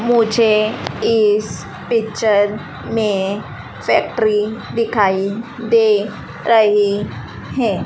मुझे इस पिक्चर में फैक्ट्री दिखाई दे रही है।